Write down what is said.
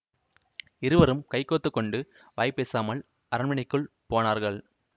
இருவரும் கைகோத்து கொண்டு வாய் பேசாமல் அரண்மனைக்குள் போனார்கள்